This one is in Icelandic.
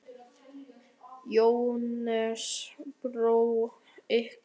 Jóhannes: Brá ykkur?